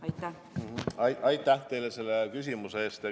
Aitäh teile selle küsimuse eest!